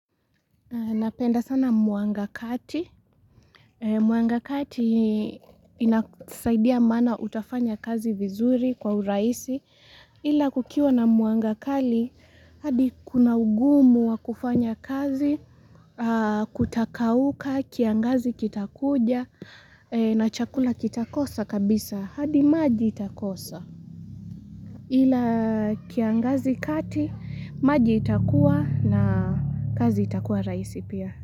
Napenda sana mwanga kati. Mwanga kati inasaidia maana utafanya kazi vizuri kwa urahisi. Ila kukiwa na mwanga kali, hadi kuna ugumu wa kufanya kazi, kutakauka, kiangazi kitakuja, na chakula kitakosa kabisa. Hadi maji itakosa. Ila kiangazi kati, maji itakuwa na kazi itakuwa rahisi pia.